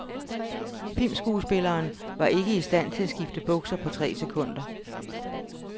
Filmsskuespilleren var ikke i stand til at skifte bukser på tre sekunder.